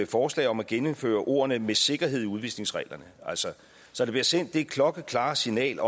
forslag om at genindføre ordene med sikkerhed i udvisningsreglerne så der bliver sendt det klokkeklare signal